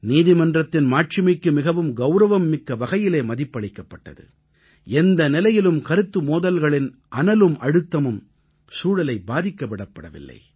நீதிமன்றத்தின் மாட்சிமைக்கு மிகவும் கௌரவம்மிக்க வகையிலே மதிப்பளிக்கப்பட்டது எந்த நிலையிலும் கருத்து மோதல்களின் அனலும் அழுத்தமும் சூழலை பாதிக்க விடப்படவில்லை